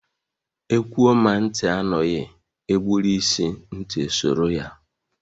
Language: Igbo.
Ewuh ma ntị anughi, e gburu isi, ntị esoro ya